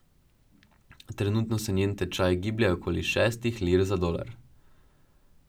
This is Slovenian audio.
Trenutno se njen tečaj giblje okoli šestih lir za dolar.